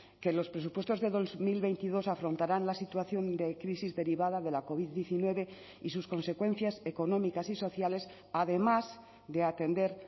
que los presupuestos de dos mil veintidós afrontarán la situación de crisis derivada de la covid diecinueve y sus consecuencias económicas y sociales además de atender